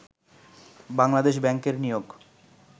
বাংলাদেশ ব্যাংকের নিয়োগ